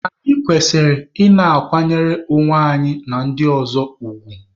Anyị kwesịrị ị na-akwanyere onwe anyị na ndị ọzọ ugwu.